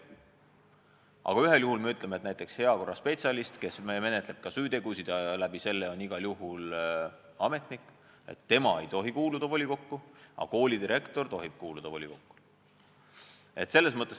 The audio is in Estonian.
Aga me ütleme, et näiteks heakorraspetsialist, kes menetleb ka süütegusid ja seetõttu on igal juhul ametnik, ei tohi kuuluda volikokku, kuid koolidirektor tohib sinna kuuluda.